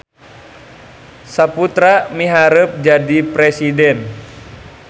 Saputra miharep jadi presiden